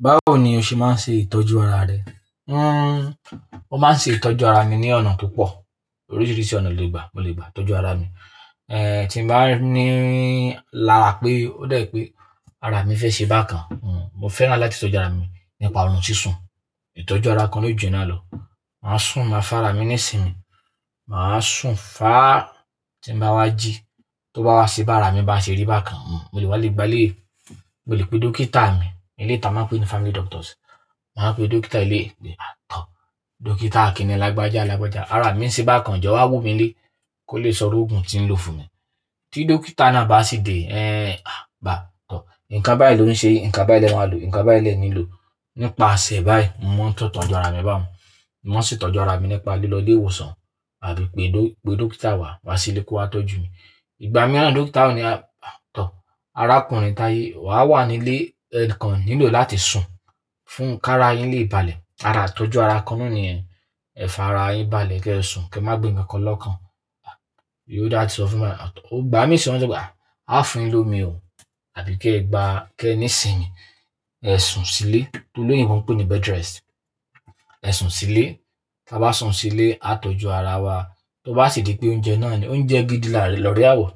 Báwo ni o ṣe máa ń ṣe ìtọ́jú ara rẹ? Hmm, mo máa ń ṣe ìtọ́jú ara mi ní ọ̀nà to pọ̀. Oríṣiríṣi ọ̀nà lo lè gbà, mo lè gbà tọ́jú ara mi. Eh, tí mo bá ní lára pé ó dà ẹ pé ara mi fẹ́ ṣe bákan. Hmm, mo fẹ́ràn láti tọ́jú ara mi nípa ohun sísun. Ìtọ́jú ara kan na o jùyen náà lọ. Màá sùn, màá fá ara mi nísinmí, màá sùn fá, tí mo bá wá jí, tó bá wá se bi ara mi bá ṣe rí bákan. Hmm, mo lè wá lè gba lé, mo lè pe dókítà mi, eleyii ta a máa ń pè é ní family doctors. Màá pè dókítà ilé de, a tọ̀. Dókítà Akin làgbájá làgbájá, ara mi ń ṣe bákan, jọ wá wù mí lé kó lè sọrú òògùn tí ń lò fún mi. Tí dókítà náà bá sì dé, ẹ́, a tọ̀. Ǹkan báyìí ló ń ṣe, ǹkan báyìí lẹ ń máa lò, ǹkan báyìí lẹ nílò. Nípa'sẹ̀ báyìí, mo mo ń setọ̀ju ara mi báun. Mo mo ń setọ́jú ara mi nípa lílọ ilé ìwòsàn àbí pé dókítà wá, wá sílé kó wá tọ́jú mi. Ìgbà mìíràn dókítà ò ní a tọ̀. Arákùnrin Taye, wà wà nílé, ẹ́, kan nílò láti sùn fún k'ara yín lè balẹ̀. Ara itọ́jú ara kan náà ní yẹ̀n, ẹ́ f'ara yín balẹ̀ kí ẹ sùn, kí ẹ má gbé nǹkankan lọ́kàn. Ǹjẹ́ ó dà tí ó fún mi lá tọ̀. Igbá mi sí ni wọ̀n le sope à, a fúnyin lómi ò, àbí kí ẹ gba, kí ẹ nísinmí, kẹ sùn sílé. Toloyinbo ń pè é ní bed rest. Ẹ sùn sílé. Tí a bá sùn sílé, a tọ́jú ara wa. Tó bá sì di pé oúnjẹ náà ni, oúnjẹ gidi lọ́re àwọ̀.